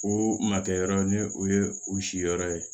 O ma kɛ yɔrɔ ni o ye u si yɔrɔ ye